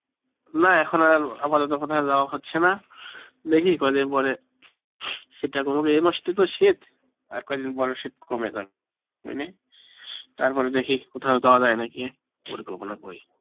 না এখন আর আপাতত কোথাও যাওয়া হচ্ছে না, দেখি কদিন পরে, শীতটা কমুক এই মাসটাই তো শীত আর কয়দিন পরে শীত কমে যাবে, মানে তারপরে দেখি আর কোথাও যাওয়া যায় নাকি, পরিকল্পনা করি